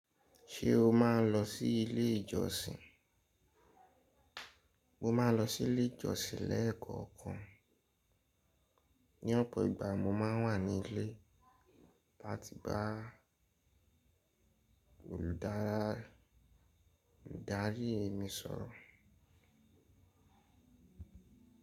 Ṣé o máa ń lọ sí ilé ìjọsìn? Mo máa ń lọ sí ilé ìjọsìn lẹ́ẹ̀kọ̀kan. Ní ọ̀pọ̀ ìgbà mo máa ń wà ní ilé láti bá olùdarí mi sọ̀rọ̀.